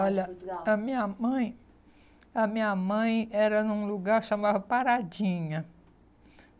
lá de Portugal? Olha, a minha mãe... a minha mãe era num lugar que se chamava Paradinha.